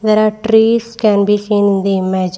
there are trees can be seen in the image.